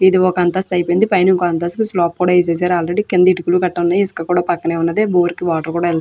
ఇది వక అంతస్థు ఐపోయింది. పైన ఇంకొక అంతస్థు స్లప్ కూడా వేసేసారు. ఆల్రెడీ కింద ఇటుకులు కట వున్నాయి. ఇసుక కూడా పక్కనే వుంది. బోరికి వాటర్ కూడా వెళ --